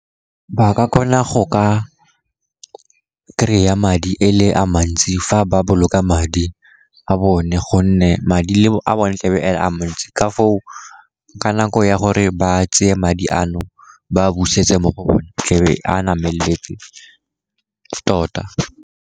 Ba ka kgona go ka kry-a madi e le a mantsi fa ba boloka madi a bone, gonne madi a bone tlebe a mantsi, ka foo ka nako ya gore ba tseye madi ano ba a busetse mo go bone tlebe a nameletse tota.